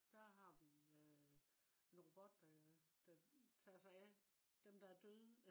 der har vi øh en robot der tager sig af dem der er døde